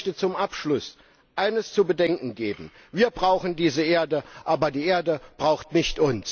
Ich möchte zum Abschluss eines zu bedenken geben Wir brauchen diese Erde, aber die Erde braucht uns nicht.